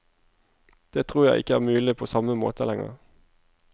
Det tror jeg ikke er mulig på samme måte lenger.